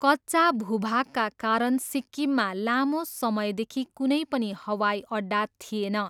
कच्चा भूभागका कारण सिक्किममा लामो समयदेखि कुनै पनि हवाइअड्डा थिएन।